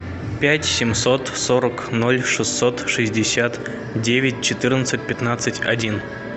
пять семьсот сорок ноль шестьсот шестьдесят девять четырнадцать пятнадцать один